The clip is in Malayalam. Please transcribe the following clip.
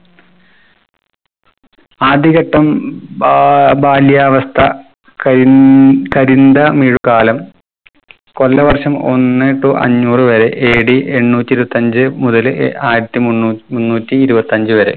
ആദ്യഘട്ടം ബാ ബാല്യവസ്ഥ കഴിഞ് കരിന്തമിഴു കാലം. കൊല്ലവർഷം ഒന്ന് to അന്നൂർ വരെ AD എണ്ണൂറ്റിരുപത്തഞ്ച് മുതല് ആയിരത്തി മുന്നൂ മുന്നൂറ്റി ഇരുപത്തഞ്ച് വരെ